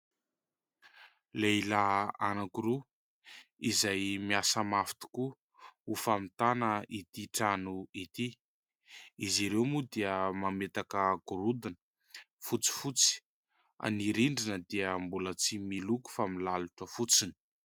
Lehilahy anakiroa izay miasa mafy tokoa ho famitana ity trano ity. Izy ireo moa dia mametaka gorodona; fotsifotsy ny rindrina, dia mbola tsy miloko fa milalotra fotsiny.